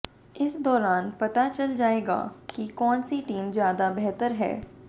इस दाैरान पता चल जाएगा कि काैन सी टीम ज्यादा बेहतर है